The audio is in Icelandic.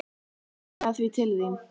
Ég skilaði því til þín.